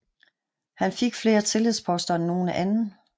Han fik flere tillidsposter end nogen anden